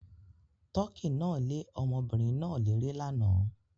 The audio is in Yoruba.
Tọkí náà le ọmọbìnrin náà léré lánàá.